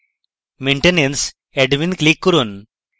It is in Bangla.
maintenance admin click করুন